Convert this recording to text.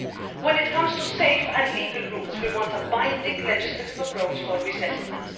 When it comes to safe and legal routes, we want a binding legislative approach for resettlement.